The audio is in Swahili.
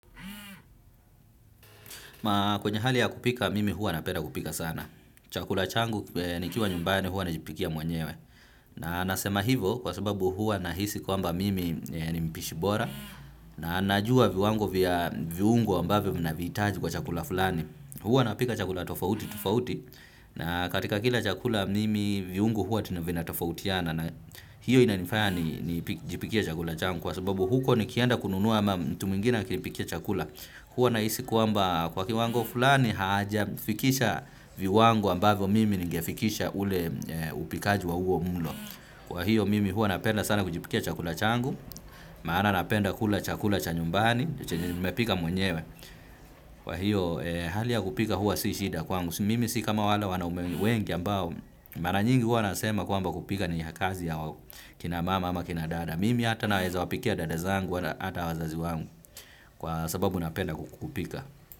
Kwenye hali ya kupika mimi huwa napeda kupika sana. Chakula changu nikiwa nyumbani hua najipikia mwenyewe. Na nasema hivo kwa sababu hua nahisi kwamba mimi ni mpishi bora na najua viwango vya viungo ambavyo mi naviitaji kwa chakula fulani. Huwa napika chakula tofauti, tofauti, na katika kila chakula mimi viungo huwa vina tofautiana na hiyo inanifaya nijipikie chakula changu kwa sababu huko nikienda kununua ama mtu mwingine akinipikia chakula. Huwa nahisi kwamba kwa kiwango fulani hajafikisha viwango ambavyo mimi ningefikisha ule upikaji wa huo mulo. Kwa hiyo mimi huwa napenda sana kujipikia chakula changu, maana napenda kula chakula cha nyumbani, chenye nimepika mwenyewe. Kwa hiyo hali ya kupika huwa si shida kwangu mimi si kama wale wanaume wengi ambao mara nyingi huwa nasema kwamba kupika ni kazi ya kina mama ama kina dada. Mimi ata naweza wapikia dada zangu ata wazazi wangu kwa sababu napenda kupika.